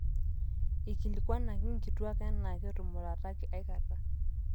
eikilikuanaki inkituaak enaa ketumurataki aikata